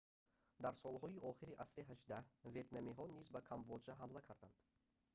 дар солҳои охири асри 18 ветнамиҳо низ ба камбоҷа ҳамла карданд